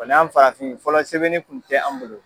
an farafin fɔlɔ sɛbɛnni tun tɛ an bolo.